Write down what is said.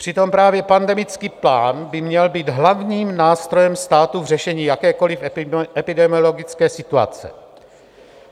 Přitom právě pandemický plán by měl být hlavním nástrojem státu v řešení jakékoliv epidemiologické situace.